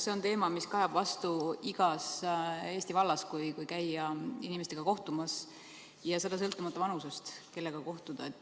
See on teema, mis kajab vastu igas Eesti vallas, kui käia inimestega kohtumas, ja sõltumata vanusest, kellega kohtuda.